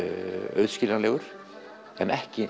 auðskiljanlegur en ekki